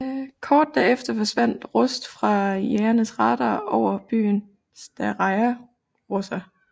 Kort derefter forsvandt Rust fra jagernes radar over byen Staraja Russa